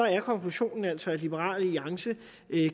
er konklusionen altså at liberal alliance